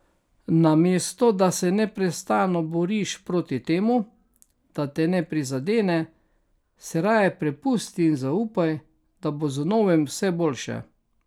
Namesto da se neprestano boriš proti temu, da te ne prizadene, se raje prepusti in zaupaj, da bo z novim vse boljše.